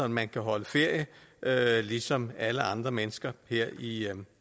man kan holde ferie ligesom alle andre mennesker her i